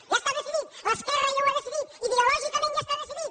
ja està decidit l’esquerra ja ho ha decidit ideològicament ja està decidit